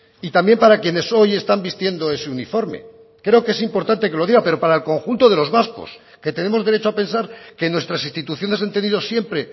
y también para quienes hoy están vistiendo ese uniforme creo que es importante que lo diga pero para el conjunto de los vascos que tenemos derecho a pensar que nuestras instituciones han tenido siempre